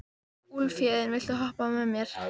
Úlfhéðinn, viltu hoppa með mér?